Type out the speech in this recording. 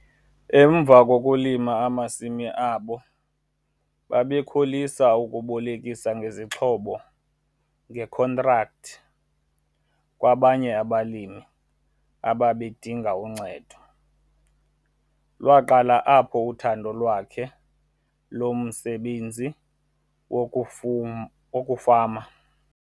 Emva kokulima amasimi abo babekholisa ukubolekisa ngezixhobo ngekhontrakthi kwabanye abalimi ababedinga uncedo. Lwaqala apho uthando lwakhe lomsebenzi wokufama.